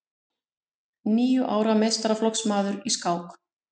Níu ára meistaraflokksmaður í skák